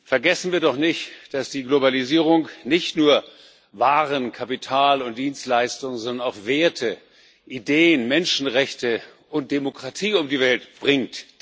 Vergessen wir doch nicht, dass die Globalisierung nicht nur Waren, Kapital und Dienstleistungen, sondern auch Werte, Ideen, Menschenrechte und Demokratie um die Welt bringt.